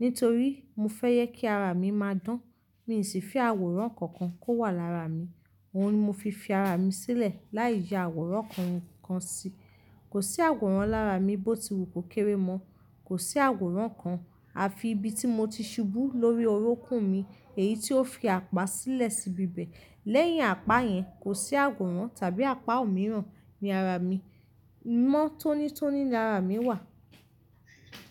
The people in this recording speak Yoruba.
Nítorí mọ fẹ́ jẹ kí ara mi máa dán, mi sì fi àwòrán kankan kó wà lára mi. Òhun ni mo fi fi ara mi sílẹ̀ láì yà àwòrán kankan sí. Kò sí àwòrán lára mi bó ti wù kó kéré mọ́. Kò sí àwòrán kan àfi ibi tí mọ ti ṣubú lórí orukún mi, èyí tí ó fi apá sílẹ̀ síbi bẹ̀. Lẹ́yìn apá yẹn, kò sí àwòrán tàbí apá òmíràn ní ara mi. Mọ́ tónítóní ní ara mi wà.